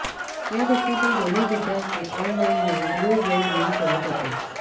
या घटनेतील दोन्ही विद्यार्थी ऑनलाईने ब्लू व्हेल गेम खेळत होते